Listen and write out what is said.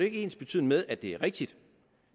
ikke ensbetydende med at det er rigtigt